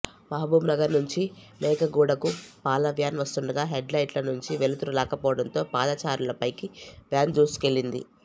మహబూబ్ నగర్ నుంచి మేకగూడకు పాల వ్యాన్ వస్తుండగా హెడ్ లైట్ల నుంచి వెలుతరు రాకపోవడంతో పాదచారులపైకి వ్యాన్ దూసుకెళ్లింది